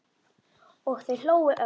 Og þau hlógu öll.